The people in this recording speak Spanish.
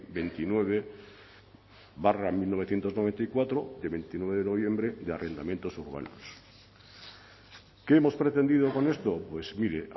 veintinueve barra mil novecientos noventa y cuatro de veintinueve de noviembre de arrendamientos urbanos qué hemos pretendido con esto pues mire